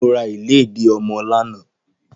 Mo ra ìlédìí ọmọ lánàá.